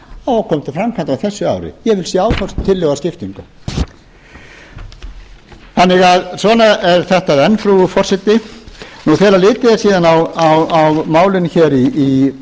og á að koma til framkvæmda á þessu ári ég vil sjá þá tillögu að skiptingu svona er þetta enn frú forseti þegar litið er síðan á málin hér í